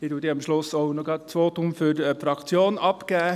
Ich gebe am Schluss auch gerade noch das Votum für die Fraktion ab.